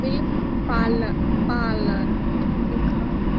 milk पाल parlour लिखा --